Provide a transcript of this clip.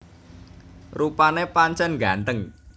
Rupané pancèn nggantheng